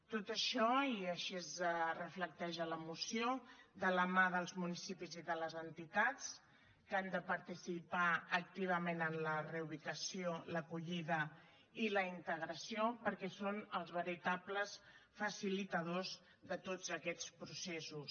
tot això i així es reflecteix a la moció de la mà dels municipis i de les entitats que han de participar activament en la reubicació l’acollida i la integració perquè són els veritables facilitadors de tots aquests processos